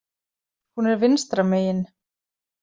Hún er vinstra megin.